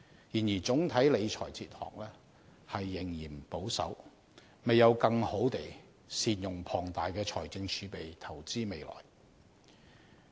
然而，總體理財哲學仍嫌保守，未有更好地善用龐大的財政儲備投資未來。